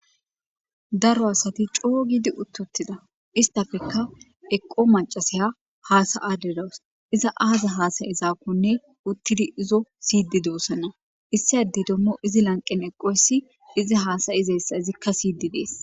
daro asati coo giidi uttottida istafekka eqqo macasaya haasa7aderas iza aaza haasayezaakkonne uttidi izo siydi doosana issiadey dommo izi lanqen eqqoyssi izi haasayizayssa izikka siydi dees